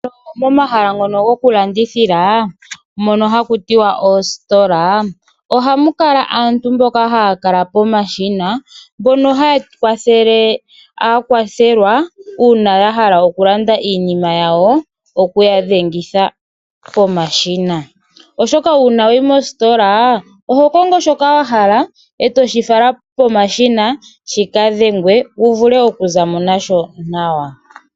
Omahala ngono gokulandithithila ohamu ka